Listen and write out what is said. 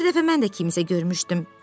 Bir dəfə mən də kimsə görmüşdüm.